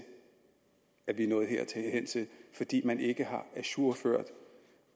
at vi er nået hertil fordi man ikke har ajourført